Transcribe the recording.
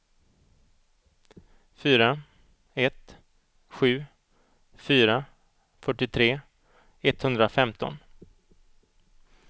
fyra ett sju fyra fyrtiotre etthundrafemton